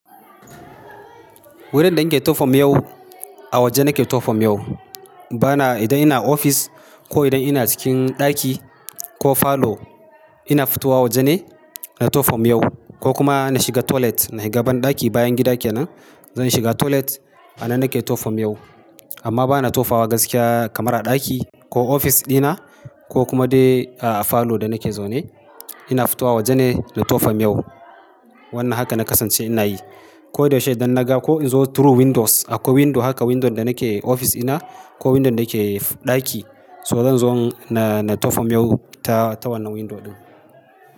Wurin da nake tofa miyau, a waje nake tofa miyau bana idan ina ofis ko idan ina cikin ɗaki ko falo ina fitowa waje ne na tofa miyau ko kuma na shiga toilet. Na shiga banɗaki bayan gida kenan. Zan shiga toilet a nan nake tofa miyau amma bana tofawa gaskiya kamar a ɗaki ko ofis dina ko kuma dai a falo da nake zaune. Ina fitowa waje ne na 2fm yau. Wannan haka na kasance ina yi. Ko da yaushe idan naga ko in zo through windows, akwai window haka window da nake ofis ina ko window da nake ɗaki so zan zo na tofa miyau ta wannan window ɗin.